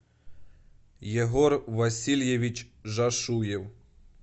егор васильевич жашуев